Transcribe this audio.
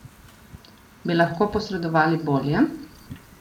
Bi lahko posredovali bolje?